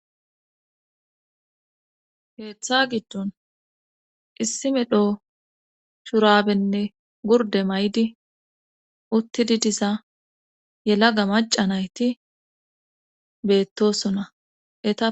Heeththa giddon issi me dho shurabenne gurde may'di uttidi diza yelaga maca nayti beettosonae.